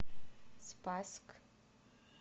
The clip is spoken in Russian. спасск